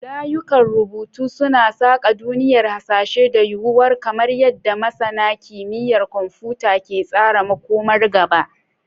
Layukan rubutu suna saƙa duniyar hasashe da yuwuwar kamar yadda masana kimiyyar kwamfuta ke tsara makomar gaba.